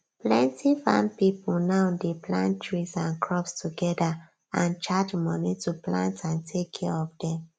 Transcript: plenty farm pipo now dey plant trees and crops together and charge money to plant and take care of dem